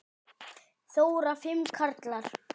Þóra: Fimm karlar?